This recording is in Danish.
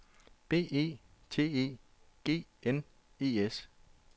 B E T E G N E S